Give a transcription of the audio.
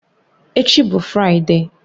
Echi bụ Fraịde